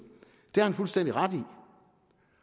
har han fuldstændig ret i